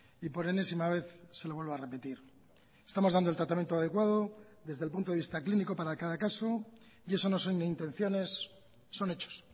y por enésima vez se lo vuelvo a repetir estamos dando el tratamiento adecuado desde el punto de vista clínico para cada caso y eso no son intenciones son hechos